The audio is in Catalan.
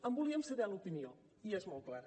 en volíem saber l’opinió i és molt clara